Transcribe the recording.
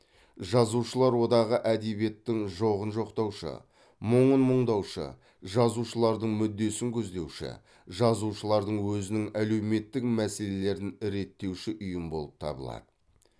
жазушылар одағы әдебиеттің жоғын жоқтаушы мұңын мұңдаушы жазушылардың мүддесін көздеуші жазушылардың өзінің әлеуметтік мәселелерін реттеуші ұйым болып табылады